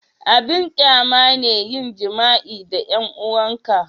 abin ƙyama ne yin jima'i da 'yan 'uwan ka